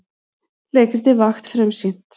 Leikritið Vakt frumsýnt